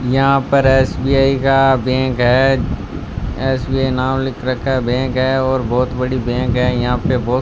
यहां पर एस_बी_आई का बैंक है एस_बी_आई नाम लिख रखा बैंक है और बहोत बड़ी बैंक है यहां पे बहोत --